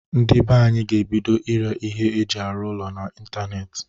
Ndị be anyị ga-ebido ire ihe eji arụ ụlọ na ntanetị.